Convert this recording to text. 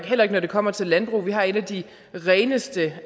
heller ikke når det kommer til landbrug vi har en af de reneste